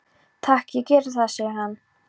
Takk, ég geri það, segir hann.